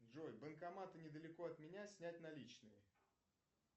джой банкоматы недалеко от меня снять наличные